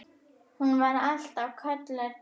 Hún var alltaf kölluð Tobba.